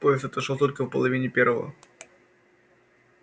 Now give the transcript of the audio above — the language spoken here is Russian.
поезд отошёл только в половине первого